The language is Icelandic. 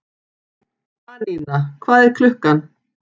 Anína, hvað er klukkan?